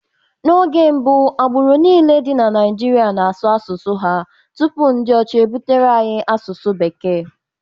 N'oge mbụ, agbụrụ niile dị na Naịjirịa na-asụ asụsụ ha tupu ndị ọcha ebutere anyị asụsụ Bekee.